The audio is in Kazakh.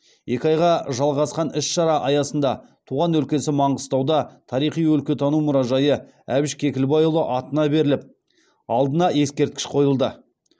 екі айға жалғасқан іс шара аясында туған өлкесі маңғыстауда тарихи өлкетану мұражайы әбіш кекілбайұлы атына беріліп алдына ескерткіш қойылды